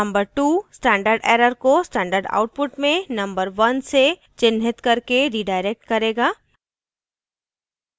number 2 standard error को standard output में number 1 से चिह्नित करके redirect करेगा